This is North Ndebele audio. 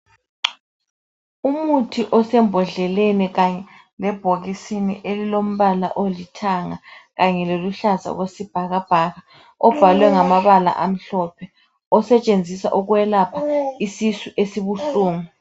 Umuthi osembodleleni kanye lebhokisini elilombala olithanga kanye loluhlaza okwesibhakabhaka obhalwe ngamabala amhlophe osetshenziswa ukwelapha isisu esibuhlungu.